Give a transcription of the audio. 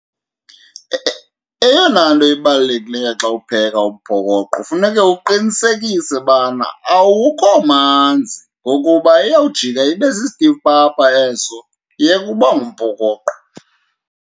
Eyona nto ibalulekileyo xa upheka umphokoqo funeke uqinisekise ubana awukho manzi, ngokuba iyawujika ibe sisitifu papa eso iyeke uba ngumphokoqo.